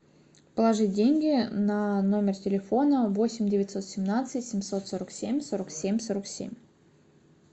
положить деньги на номер телефона восемь девятьсот семнадцать семьсот сорок семь сорок семь сорок семь